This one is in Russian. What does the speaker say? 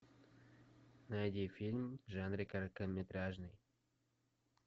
найди фильм в жанре короткометражный